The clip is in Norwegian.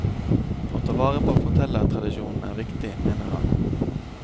Å ta vare på fortellertradisjonen er viktig, mener han.